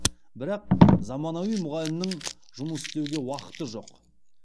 бірақ заманауи мұғалімнің жұмыс істеуге уақыты жоқ